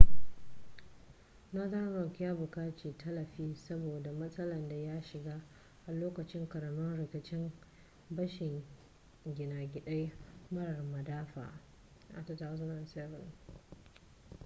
northern rock ya buƙaci tallafi saboda matsalar da ya shiga a lokacin ƙaramin rikicin bashin gina gida marar madafa a 2007